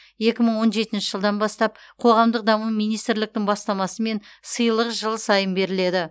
екі мың он жетінші жылдан бастап қоғамдық даму министрліктің бастамасымен сыйлық жыл сайын беріледі